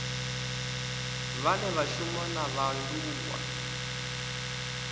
vhane vha shuma na vhaaluwa